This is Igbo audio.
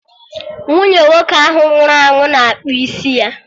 Nwunye nwoke ahụ nwụrụ anwụ na-akpụ isi ya